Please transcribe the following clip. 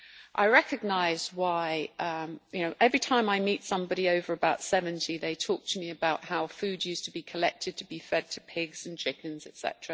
I recognise why every time I meet somebody over about 70 they talk to me about how food used to be collected to be fed to pigs and chickens, etc.